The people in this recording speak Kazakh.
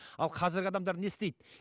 ал қазіргі адамдар не істейді